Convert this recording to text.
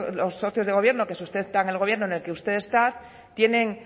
los socios de gobierno que sustentan el gobierno en el que usted está tienen